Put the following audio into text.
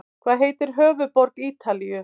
Hvað heitir höfuðborg Ítalíu?